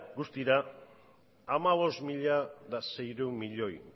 guztira hamabost mila seiehun miloi